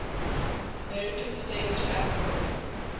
american stage actors